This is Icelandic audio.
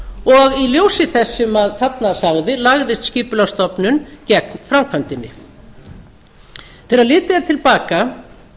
í ljósi þess sem þarna sagði lagðist skipulagsstofnun gegn framkvæmdinni þegar litið er til baka